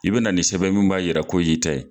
I be na ni sɛbɛn ye mun b'a yira ko ye e yɛrɛ ta ye.